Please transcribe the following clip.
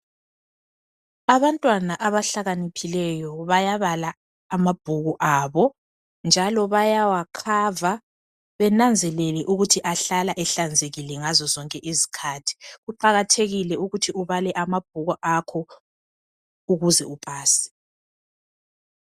Abantwana abahlakaniphileyo bayabala amabhuku abo njalo bayawakhava benanzelele ukuthi ahlala ehlanzekile ngazo zonke izikhathi. Kuqakathekile ukuthi ubale amabhuku akho ukuze upase.